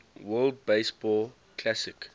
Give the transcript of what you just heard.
world baseball classic